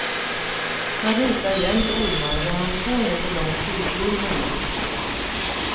Han ritar jämt ormar och har en två meter lång tygorm hemma.